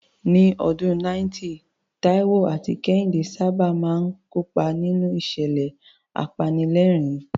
Ní ọdún 90, Taiwo àti Kehinde sábà máa ń kópa nínú ìṣẹ̀lẹ̀ apanilẹ́rìn-ín.